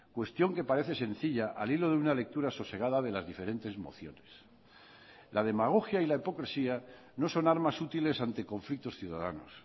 cuestión que parece sencilla al hilo de una lectura sosegada de las diferentes mociones la demagogia y la hipocresía no son armas útiles ante conflictos ciudadanos